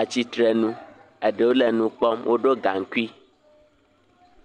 atsitrenu eɖewo le nu kpɔm woɖo gaŋkui.